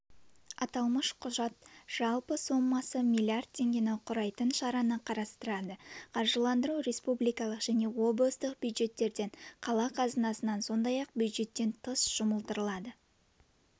аталмыш құжат жалпы сомасы миллиард теңгені құрайтын шараны қарастырады қаржыландыру республикалық және облыстық бюджеттерден қала қазынасынан сондай-ақ бюджеттен тыс жұмылдырылады